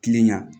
Kilen ya